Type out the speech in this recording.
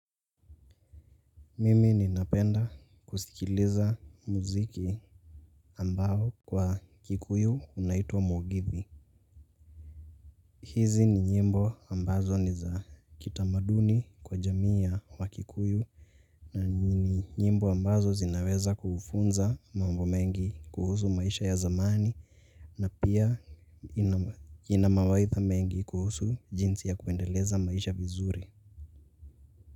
Mimi ninapenda kusikiliza muziki ambao kwa kikuyu unaitwa mugithi. Hizi ni nyimbo ambazo ni za kitamaduni kwa jamii ya wakikuyu. Na ni nyimbo ambazo zinaweza kufunza mambo mengi kuhusu maisha ya zamani. Na pia inamawaidha mengi kuhusu jinsi ya kuendeleza maisha vizuri.